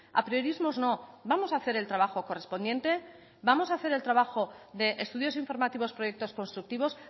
apriorismos no vamos a hacer el trabajo correspondiente vamos a hacer el trabajo de estudios informativos proyectos constructivos